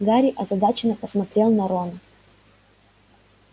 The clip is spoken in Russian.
гарри озадаченно посмотрел на рона